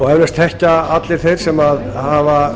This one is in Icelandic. eflaust þekkja allir þeir sem hafa